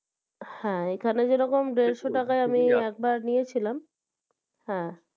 হ্যাঁ হ্যাঁ যেরকম দেড়শো টাকায় আমি একবার নিয়েছিলাম হ্যাঁ